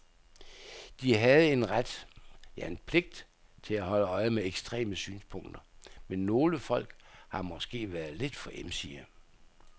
De havde en ret, ja en pligt til at holde øje med ekstreme synspunkter, men nogle folk har måske været lidt for emsige.